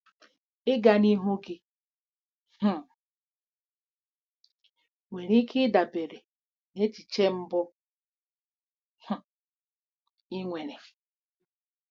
Ịga n'ihu gị um nwere ike ịdabere na echiche mbụ um ị nwere.